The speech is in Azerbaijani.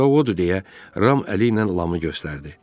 Qorxaq odur deyə Ram əli ilə Lamı göstərdi.